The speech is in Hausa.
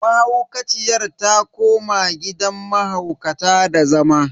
Mahaukaciyar ta koma gidan mahaukata da zama.